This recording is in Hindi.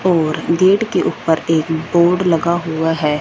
और गेट के ऊपर एक बोर्ड लगा हुआ है।